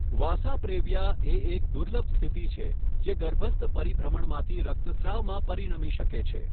વાસા previa એ એક દુર્લભ સ્થિતિ છે જે ગર્ભસ્થ પરિભ્રમણમાંથી રક્તસ્રાવમાં પરિણમી શકે છે.